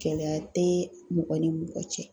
Gɛlɛya tɛ mɔgɔ ni mɔgɔ cɛ.